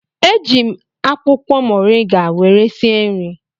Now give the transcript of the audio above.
Eji m akwụkwọ moriga were sie nri